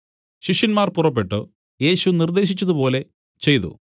ശിഷ്യന്മാർ പുറപ്പെട്ടു യേശു നിർദ്ദേശിച്ചതുപോലെ ചെയ്തു